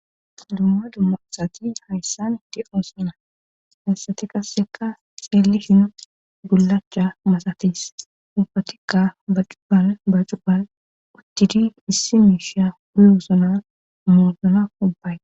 dumma dumma asati hayssani eqidoossana hassati qasseka seelli hinu gullacha masatis umfatikka ba cubban ba cubban uttidi issi miisha huyosona moozona ubbay